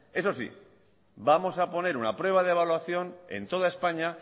eso sí vamos a poner una prueba de evaluación en toda españa